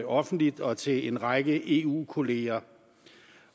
offentligt og til en række eu kolleger